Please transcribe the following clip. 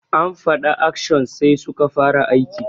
An fada action sai suka fara aiki.